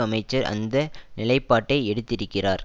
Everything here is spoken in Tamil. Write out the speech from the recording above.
அமைச்சர் அந்த நிலைப்பாட்டை எடுத்திருக்கிறார்